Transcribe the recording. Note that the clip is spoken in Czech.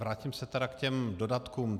Vrátím se tedy k těm dodatkům.